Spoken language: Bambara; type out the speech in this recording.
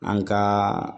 An ka